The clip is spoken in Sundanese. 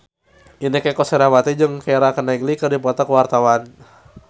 Inneke Koesherawati jeung Keira Knightley keur dipoto ku wartawan